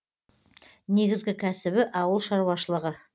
негізгі кәсібі ауыл шаруашылығы